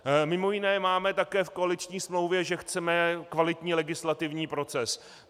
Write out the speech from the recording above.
Mimo jiné máme také v koaliční smlouvě, že chceme kvalitní legislativní proces.